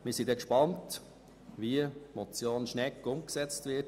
Wir sind gespannt, wie die Motion Schnegg umgesetzt wird.